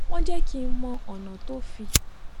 wón jé kí n mọ ònà tó fi